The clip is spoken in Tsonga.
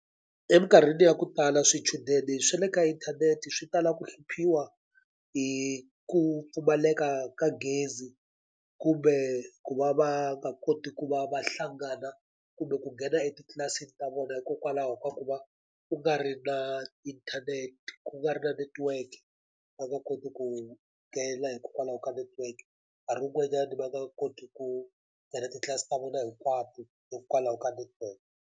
Eminkarhini ya ku tala swichudeni swa le ka inthanete swi tala ku hluphiwa hi ku pfumaleka ka gezi, kumbe ku va va nga koti ku va va hlangana kumbe ku nghena etitlilasini ta vona hikokwalaho ka ku va ku nga ri na internet, ku nga ri na network. Va nga koti ku nghena hikokwalaho ka network, nkarhi wun'wanyani va nga koti ku nghena titlilasi ta vona hinkwato hikwalaho ka network.